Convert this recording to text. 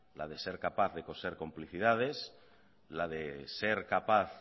la de ser capaz de coser complicidades la de ser capaz